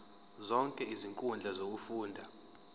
zonke izinkundla zokufunda